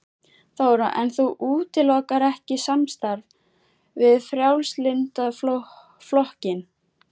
Þóra: En þú útilokar ekki samstarf við Frjálslynda flokkinn?